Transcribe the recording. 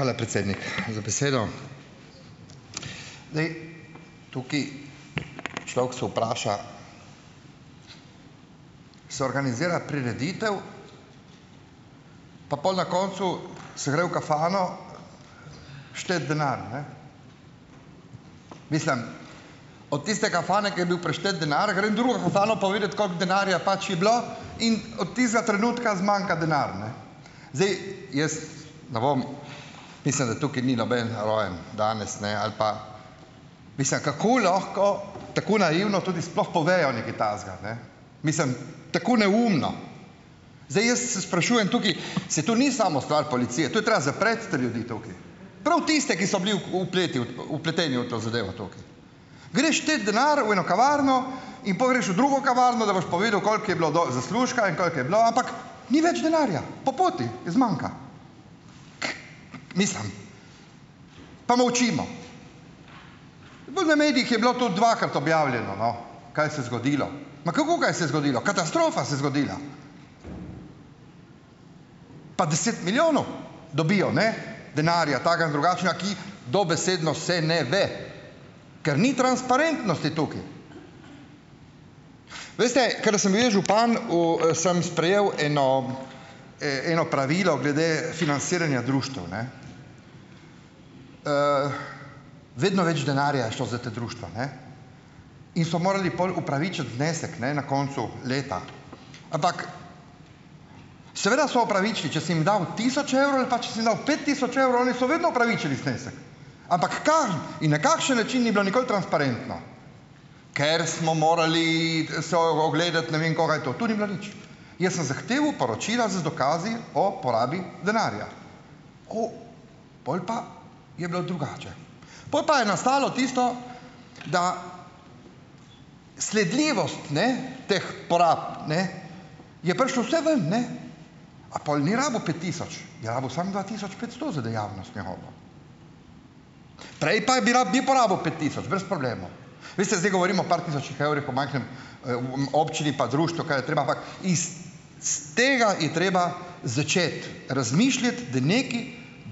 Hvala, predsednik, za besedo! Zdaj, tukaj, človek se vpraša, se organizira prireditev, pa pol na koncu se gre v "kafano" šteti denar, ne. Mislim, od tiste "kafane", ki je bil preštet denar, gre drugo "kafano", povedat, koliko denarja pač je bilo, in od tistega trenutka zmanjka denar, ne. Zdaj, jaz, ne bom, mislim, da tukaj ni noben rojen danes ali pa, mislim, kako lahko tako naivno tudi sploh povejo nekaj takega, ne? Mislim, tako neumno ... Zdaj, jaz se sprašujem tukaj, saj to ni samo stvar policije, to je treba zapreti te ljudi tukaj - prav tiste, ki so bili vpleteni v to zadevo tukaj. Greš štet denar v eno kavarno in pol greš v drugo kavarno, da boš povedal, koliko je bilo zaslužka in koliko je bilo, ampak ni več denarja, po poti, zmanjka. Mislim, pa molčimo. Gor na medijih je bilo to dvakrat objavljeno, no, kaj se je zgodilo. Ma, kako, kaj se je zgodilo?! Katastrofa se je zgodila. Pa deset milijonov dobijo, ne, denarja takega in drugačnega, ki dobesedno se ne ve, ker ni transparentnosti tukaj. Veste, ker sem bil jaz župan, u sem sprejev eno, eno pravilo glede financiranja društev, ne, Vedno več denarja je šlo za ta društva, ne. In so morali pol upravičiti znesek, ne, na koncu leta. Ampak seveda so opravičili. Če si jim dal tisoč evrov ali pa če si jim dal pet tisoč evrov, oni so vedno opravičili znesek. Ampak kam in na kakšen način, ni bilo nikoli transparentno, ker smo morali so ogledati ne vem koga in to. To ni bilo nič. Jaz sem zahteval poročila z dokazi o porabi denarja. Ko? Pol pa je bilo drugače. Pol pa je nastalo tisto, da sledljivost, ne, teh porab, ne, je prišlo vse ven, ne. A pol ni rabil pet tisoč? Je rabil samo dva tisoč petsto za dejavnost njegovo. Prej pa je bi porabil pet tisoč brez problema. Veste, zdaj govorim o par tisočih evrih v majhni, občini, pa društev, kaj je treba, ampak iz s tega je treba začeti razmišljati, da nekaj